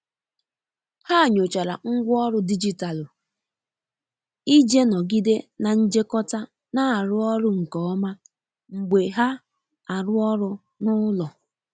Ha nyochara ngwa ọrụ digitalụ ije nogide na njekota na arụ ọrụ nke oma mgbe ha arụ ọrụ n'ulo.